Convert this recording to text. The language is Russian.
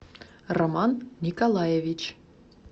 роман николаевич